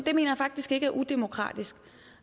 mener jeg faktisk ikke er udemokratisk